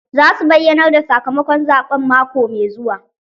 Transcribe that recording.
Za su bayyanar da sakamakon zaɓen mako mai zuwa.